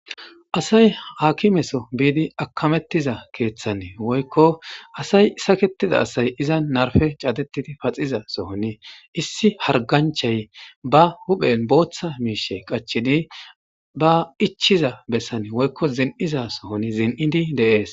Asay haakimeso biidi akamettiza keeththanee woykko asay saketida asay iza narfe caatetidi paxiza sohoni issi harganchay ba huphen booththa miishe qachidi ba ichiza bessane woykko zin'iza sohoni zin'idi deees.